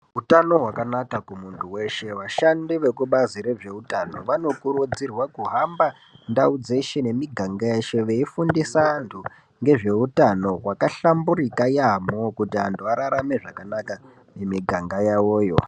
Utano hwakanaka kumuntu weshe. Vashandi vekubazi rezveutano vanokurudzirwa kuhamba ndau dzeshe nemiganga yeshe veifundisa antu ngezveutano hwakahlamburika yaamho. Kuti antu ararame zvakanaka mumiganga yavoyo.